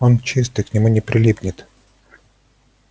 он чистый к нему не прилипнет